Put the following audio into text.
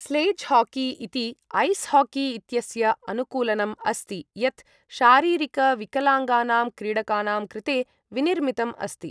Sledge hockey इति ice hockey इत्यस्य अनुकूलनम् अस्ति यत् शारीरिकविकलाङ्गानाम् क्रीडकानां कृते विनिर्मितम् अस्ति ।